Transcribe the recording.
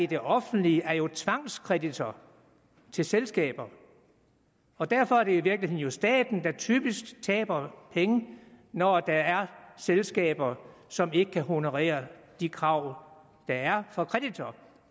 det offentlige er jo tvangskreditor til selskaber og derfor er det i virkeligheden staten der typisk taber penge når der er selskaber som ikke kan honorere de krav der er fra kreditor